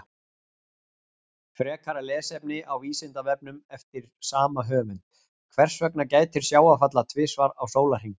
Frekara lesefni á Vísindavefnum eftir sama höfund: Hvers vegna gætir sjávarfalla tvisvar á sólarhring?